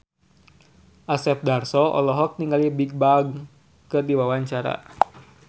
Asep Darso olohok ningali Bigbang keur diwawancara